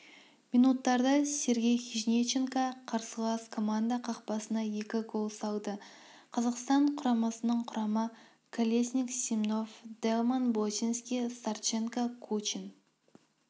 минуттарда сергей хижниченко қарсылас команда қақпасына екі гол салды қазақстан құрамасының құрамы колесник семнов-даллмэн боченски-старченко-кучин